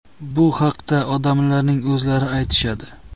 Bu haqda odamlarning o‘zlari aytishadi.